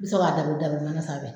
Bi sɔrɔ ka dabiri dabiri manan sanfɛ